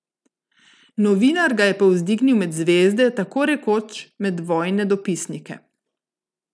Novinar ga je povzdignil med zvezde, tako rekoč med vojne dopisnike.